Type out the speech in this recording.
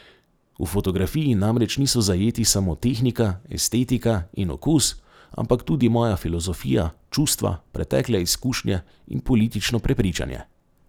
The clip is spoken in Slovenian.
V fotografiji namreč niso zajeti samo tehnika, estetika in okus, ampak tudi moja filozofija, čustva, pretekle izkušnje in politično prepričanje.